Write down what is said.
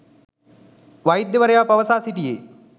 වෛද්‍යවරයා පවසා සිටියේ